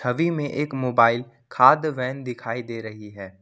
छवि में एक मोबाइल खाद्य वैन दिखाई दे रही है।